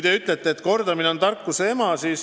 Te ütlesite, et kordamine on tarkuse ema.